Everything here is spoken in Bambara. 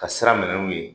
Ka sira minɛ n'u ye